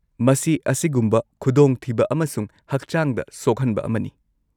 -ꯃꯁꯤ ꯑꯁꯤꯒꯨꯝꯕ ꯈꯨꯗꯣꯡꯊꯤꯕ ꯑꯃꯁꯨꯡ ꯍꯛꯆꯥꯡꯗ ꯁꯣꯛꯍꯟꯕ ꯑꯃꯅꯤ꯫